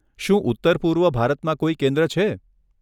શું ઉત્તર પૂર્વ ભારતમાં કોઈ કેન્દ્ર છે?